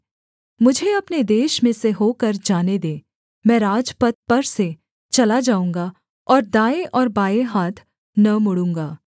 मुझे अपने देश में से होकर जाने दे मैं राजपथ पर से चला जाऊँगा और दाएँ और बाएँ हाथ न मुड़ूँगा